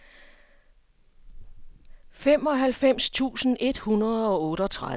femoghalvfems tusind et hundrede og otteogtredive